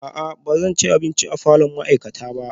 A'a ba zan ci abinci a falon ma'aikata ba